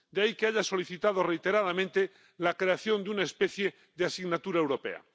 De ahí que haya solicitado reiteradamente la creación de una especie de asignatura europea.